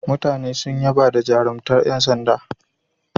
Mutane sun yaba da jarumtar yan sanda.